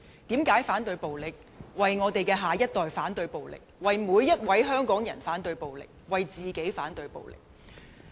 因為我們要為下一代反對暴力，為香港人反對暴力，為自己反對暴力。